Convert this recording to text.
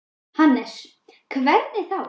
Jóhannes: Hvernig þá?